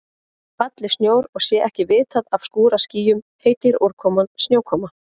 Falli snjór og sé ekki vitað af skúraskýjum heitir úrkoman snjókoma.